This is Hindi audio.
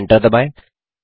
Enter दबाएँ